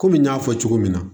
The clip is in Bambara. Kɔmi n y'a fɔ cogo min na